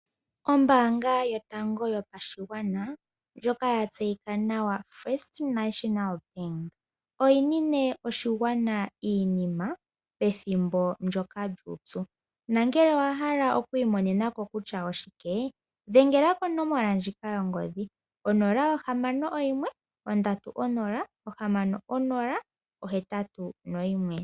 Ombaanga yotango yopashigwana ndjoka ya tseyika nawa First National Bank, oyi nine oshigwana iinima pethimbo ndyoka lyuupyu nongele owa hala oku imonena ko kutya oshike, dhengela konomola ndjika yongodhi 061 306081.